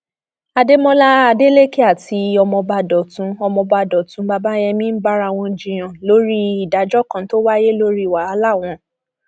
àdèmọlá adelèkẹ àti ọmọọba dọtún ọmọọba dọtún bàbáyémí ń bára wọn jiyàn lórí ìdájọ kan tó wáyé lórí wàhálà wọn